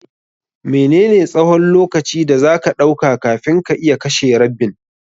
Mene ne tsahon lokaci da zaka ɗauka kafin ka iya kashe rabbin?